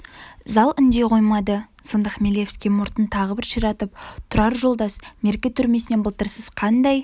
зал үндей қоймады сонда хмелевский мұртын тағы бір ширатып тұрар жолдас мерке түрмесінен былтыр сіз қандай